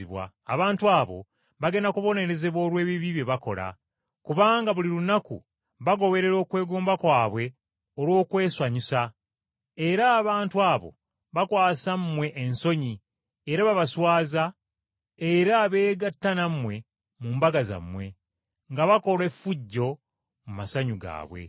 Abantu abo bagenda kubonerezebwa olw’ebibi bye bakola. Kubanga buli lunaku bagoberera okwegomba kwabwe olw’okwesanyusa, era abantu abo bakwasa mmwe ensonyi era babaswaza bwe beegatta nammwe mu mbaga zammwe, nga bakola effujjo mu masanyu gaabwe.